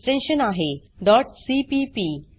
extension आहे dot CPP